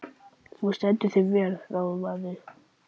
Þú stendur þig vel, Ráðvarður!